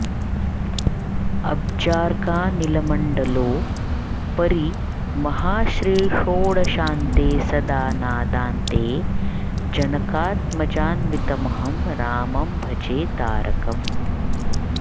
अब्जार्कानिलमण्डलोपरि महाश्रीषोडशान्ते सदा नादान्ते जनकात्मजान्वितमहं रामं भजे तारकम्